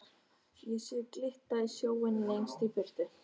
Ég sé glitta í sjóinn lengst í burtu.